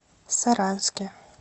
саранске